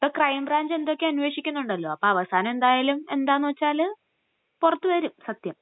ഇപ്പൊ crime branch എന്തൊക്കെയോ അന്വേഷിക്കുന്നുണ്ടല്ലോ..അപ്പൊ അവസാനം എന്തായാലും എന്താ നു വച്ചാല്..പുറത്തുവരും...സത്യം.